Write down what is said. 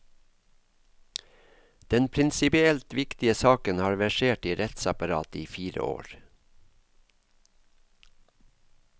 Den prinsipielt viktige saken har versert i rettsapparatet i fire år.